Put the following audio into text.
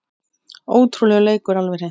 Ótrúlegur leikur alveg hreint